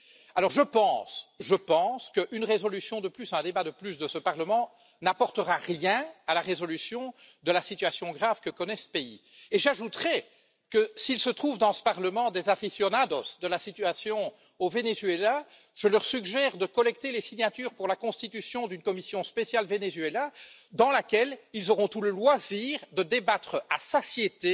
Alors, je pense qu'une résolution de plus, un débat de plus de ce Parlement n'apportera rien à la résolution de la situation grave que connaît ce pays et j'ajouterai que s'il se trouve dans ce Parlement des aficionados de la situation au Venezuela, je leur suggère de collecter les signatures pour la constitution d'une commission spéciale sur le Venezuela, dans laquelle ils auront tout le loisir de débattre à satiété